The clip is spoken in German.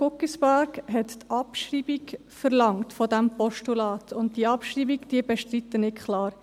Guggisberg hat die Abschreibung des Postulats verlangt, und diese Abschreibung bestreite ich klar.